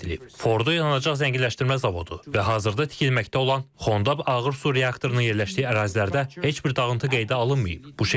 Fordo yanacaq zənginləşdirmə zavodu və hazırda tikilməkdə olan Xondab ağır su reaktorunun yerləşdiyi ərazilərdə heç bir dağıntı qeydə alınmayıb.